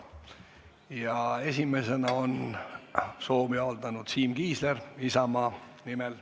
Esimesena on soovi avaldanud Siim Kiisler Isamaa nimel.